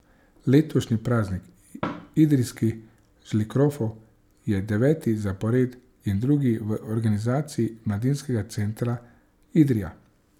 Letošnji praznik idrijskih žlikrofov je deveti zapored in drugi v organizaciji Mladinskega centra Idrija.